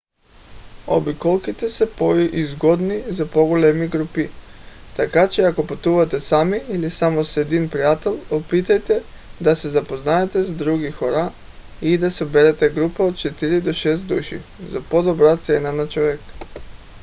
обиколките са по-изгодни за по-големи групи така че ако пътувате сами или само с един приятел опитайте да се запознаете с други хора и да съберете група от четири до шест души за по-добра цена на човек